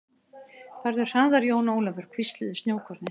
Farðu hraðar Jón Ólafur, hvísluðu snjókornin.